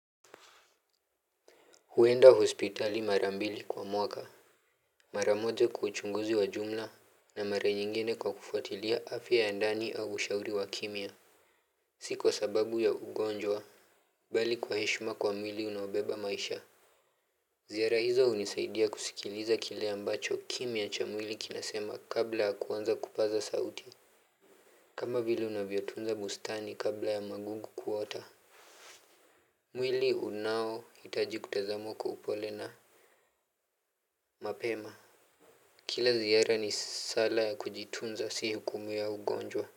Huenda hospitali mara mbili kwa mwaka. Mara moja kwa uchunguzi wa jumla na mara nyingine kwa kufuatilia afya ya ndani au ushauri wa kimya. Si kwa sababu ya ugonjwa bali kwa heshima kwa mwili unaobeba maisha. Ziara hizo hunisaidia kusikiliza kile ambacho kimya cha mwili kinasema kabla ya kuanza kupaza sauti. Kama vile unavyotunza bustani kabla ya magungu kuota. Mwili unaohitaji kutazamwa kwa upole na Mapema. Kila ziara ni sala ya kujitunza si hukumu ya ugonjwa.